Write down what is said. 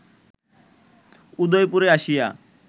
উদয়পুরে আসিয়া